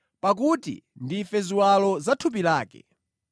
pakuti ndife ziwalo za thupi lake.